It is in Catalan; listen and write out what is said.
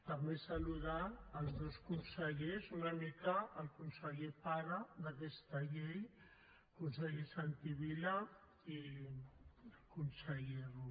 també saludar els dos consellers una mica el conseller pare d’aquesta llei el conseller santi vila i el conseller rull